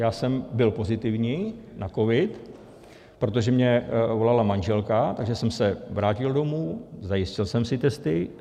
Já jsem byl pozitivní na covid, protože mně volala manželka, takže jsem se vrátil domů, zajistil jsem si testy.